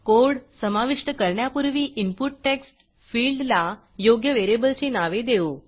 code समाविष्ट करण्यापूर्वी input text फिल्डला योग्य व्हेरिएबलची नावे देऊ